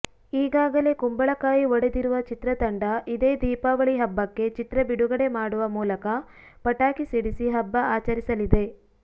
ಈಗಾಗಲೇ ಕುಂಬಳಕಾಯಿ ಒಡೆದಿರುವ ಚಿತ್ರತಂಡ ಇದೇ ದೀಪಾವಳಿ ಹಬ್ಬಕ್ಕೆ ಚಿತ್ರಬಿಡುಗಡೆ ಮಾಡುವ ಮೂಲಕ ಪಟಾಕಿ ಸಿಡಿಸಿ ಹಬ್ಬ ಆಚರಿಸಲಿದೆ